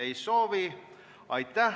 Ei soovi.